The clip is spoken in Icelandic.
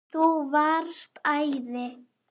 Þú varst æði.